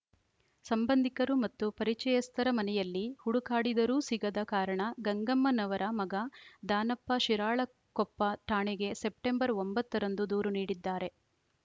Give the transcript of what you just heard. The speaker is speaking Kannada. ಸಂಭಂದಿಕರು ಮತ್ತು ಪರಿಚಯಸ್ತರ ಮನೆಯಲ್ಲಿ ಹುಡುಕಾಡಿದರೂ ಸಿಗದ ಕಾರಣ ಗಂಗಮ್ಮನವರ ಮಗ ದಾನಪ್ಪ ಶಿರಾಳಕೊಪ್ಪ ಠಾಣೆಗೆ ಸೆಪ್ಟೆಂಬರ್‌ ಒಂಬತ್ತ ರಂದು ದೂರು ನೀಡಿದ್ದಾರೆ